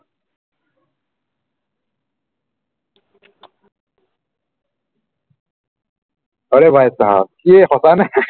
आरे भाईचाहाव ইয়ে সচানে